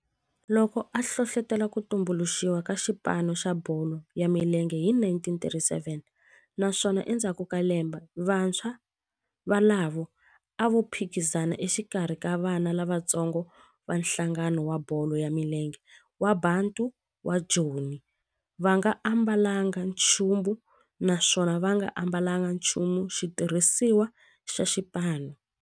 Loko a hlohlotela ku tumbuluxiwa ka xipano xa bolo ya milenge hi 1937 naswona endzhaku ka lembe vantshwa volavo a va phikizana exikarhi ka vana lavatsongo va nhlangano wa bolo ya milenge wa Bantu wa Joni va nga ambalanga nchumu naswona va nga ambalanga nchumu xitirhisiwa xa xipano.